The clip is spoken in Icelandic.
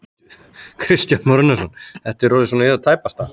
Kristján Már Unnarsson: Þetta er orðið svona í það tæpasta?